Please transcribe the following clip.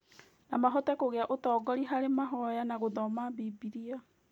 No mahote kũgĩa ũtongoria harĩ mahoya na gũthoma Bibiria.